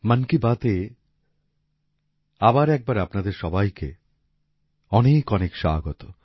মন কি বাতএ আবার একবার আপনাদের সবাইকে অনেকঅনেক স্বাগত